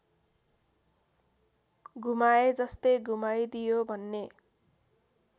घुमाएजस्तै घुमाइदियो भन्ने